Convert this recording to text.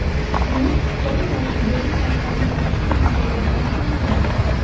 U qon yoki yiring orqali yuqishi mumkinligini aniqlangan.